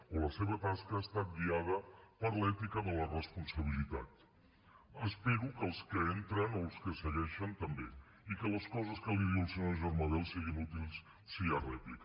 o la seva tasca ha estat guiada per l’ètica de la responsabilitat espero que els que entren o els que segueixen també i que les coses que li diu el senyor germà bel siguin útils si hi ha rèplica